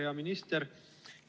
Hea minister!